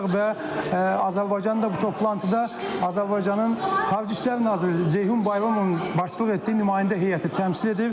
və Azərbaycan da bu toplantıda Azərbaycanın Xarici İşlər Naziri Ceyhun Bayramovun başçılıq etdiyi nümayəndə heyəti təmsil edir.